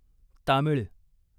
Tamil